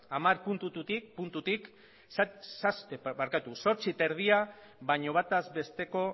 hamar puntutik zortzi koma bost baino bataz besteko